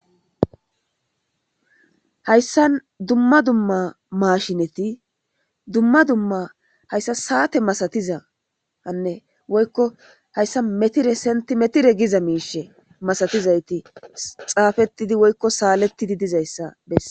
Hayssa dumma dumma mashineti dumma dumma hayssa saate masatiza anne woykko hayssa metire senti metire giza miishe masatizayti xaafetidi woykko saalettidi diza issa besses.